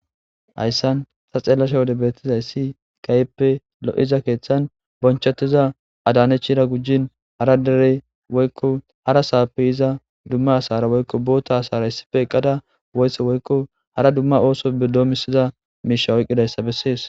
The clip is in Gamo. hayssan ta xeellasha wode beettiza issi kayeppe lo7iza keeththan bonchettiza adaanechira gujjin hara dere woykko hara saappe iza dumma asara woykko boota asara issife qqada woysse woykko hara dumma ooso be doomisiza miisha oyqqidayssa bessees